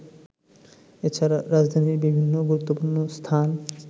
এছাড়া রাজধানীর বিভিন্ন গুরুত্বপূর্ণ স্থান